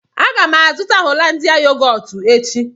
Aga m azụta Hollandia yogọọtu echi